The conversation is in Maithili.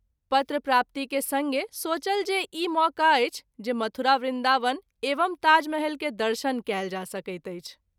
पत्र प्राप्ति के संगे सोचल जे इएह मौका अछि जे मथुरा, वृंदावन एवं ताजमहल के दर्शन कएल जा सकैत अछि।